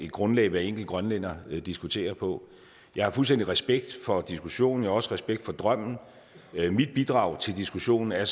grundlag hver enkelt grønlænder diskuterer på jeg har fuldstændig respekt for diskussionen og også respekt for drømmen mit bidrag til diskussionen er